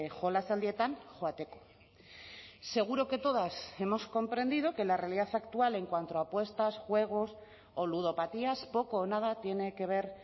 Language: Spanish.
jolasaldietan joateko seguro que todas hemos comprendido que la realidad actual en cuanto a apuestas juegos o ludopatías poco o nada tiene que ver